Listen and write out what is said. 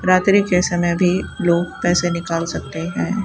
रात्रि के समय भी लोग पैसे निकाल सकते हैं।